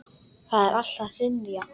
Það er allt að hrynja.